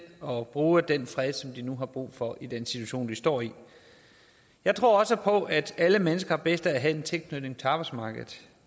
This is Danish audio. og bruge den fred som de nu har brug for i den situation de står i jeg tror også på at alle mennesker har bedst af at have en tilknytning til arbejdsmarkedet